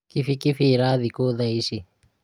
kibikibi ĩrathĩi kũ thaa ici?